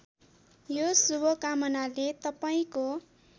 यो शुभकामनाले तपाईँको